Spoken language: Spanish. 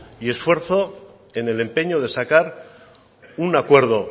y esfuerzo en el empeño de sacar un acuerdo